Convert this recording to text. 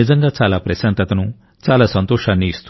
నిజంగా చాలా ప్రశాంతతను చాలా సంతోషాన్ని ఇస్తుంది